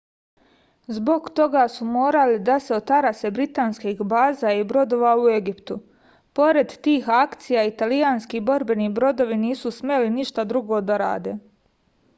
zbog toga su morali da se otarase britanskih baza i brodova u egiptu pored tih akcija italijanski borbeni brodovi nisu smeli ništa drugo da rade